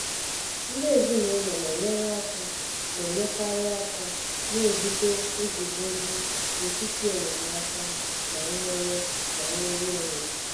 ndị ezinaụlọ na-enyere aka na-enyekarị aka na-ebute nguzozi n'etiti enyemaka na nnwere na nnwere onwe.